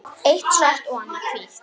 Eitt svart og annað hvítt.